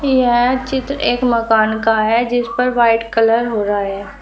यह चित्र एक मकान का है जिस पर वाइट कलर हो रहा है।